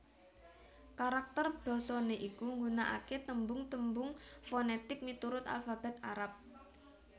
Karakter basané iku nggunakaké tembung tembung fonètik miturut alfabèt Arab